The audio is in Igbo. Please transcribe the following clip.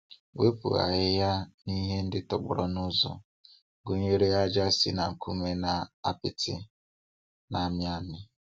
Wepụ ahịhịa na ihe ndị tọgbọrọ n'ụzọ, gụnyere ája si na nkume na apịtị na-amị amị.